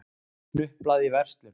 Hnuplað í verslun.